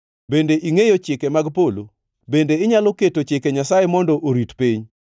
Bende ingʼeyo chike mag polo? Bende inyalo keto chike Nyasaye mondo orit piny?